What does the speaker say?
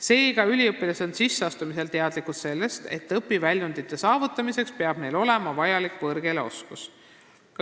Seega, üliõpilased on sisseastumisel teadlikud sellest, et õpiväljundite saavutamiseks peab neil vajalik võõrkeeleoskus olemas olema.